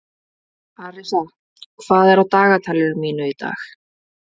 Arisa, hvað er á dagatalinu mínu í dag?